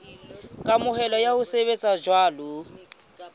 kamohelo ya ho sebetsa jwalo